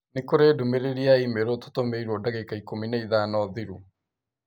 Nĩ kũrĩ ndũmĩrĩri ya i-mīrū tũtũmĩirũo ndagĩka ikũmi na ithano thirũ